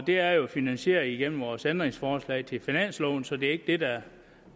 det er jo finansieret gennem vores ændringsforslag til finansloven så det er ikke det der